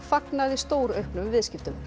fagnaði stórauknum viðskiptum